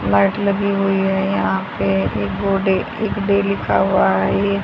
Light लगी हुई है यहां पे एक बोर्ड है एक लिखा हुआ है ये।